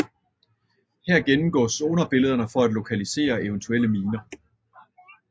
Her gennemgås sonarbillederne for at lokalisere eventuelle miner